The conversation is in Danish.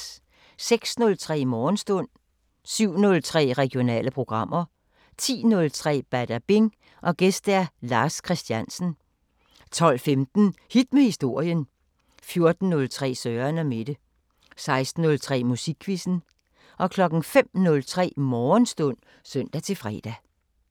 06:03: Morgenstund 07:03: Regionale programmer 10:03: Badabing: Gæst Lars Christiansen 12:15: Hit med historien 14:03: Søren & Mette 16:03: Musikquizzen 05:03: Morgenstund (søn-fre)